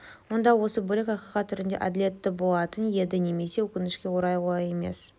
онда осы бөлік ақиқат түрінде әділетті болатын еді немесе өкінішке орай олай емес